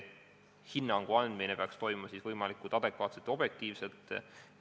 Hinnangu andmine peaks toimuma võimalikult adekvaatselt ja objektiivselt.